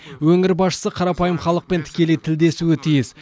өңір басшысы қарапайым халықпен тікелей тілдесуі тиіс